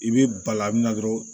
I bɛ bala min na dɔrɔn